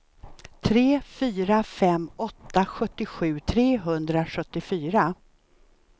tre fyra fem åtta sjuttiosju trehundrasjuttiofyra